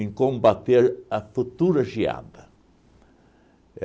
em combater a futura geada.